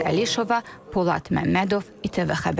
Nigar Əlişova, Polad Məmmədov ITV Xəbər.